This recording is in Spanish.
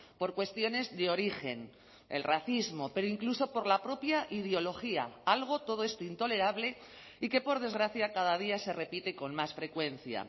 por cuestiones de origen el racismo pero incluso por la propia ideología algo todo esto intolerable y que por desgracia cada día se repite con más frecuencia